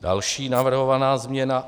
Další navrhovaná změna.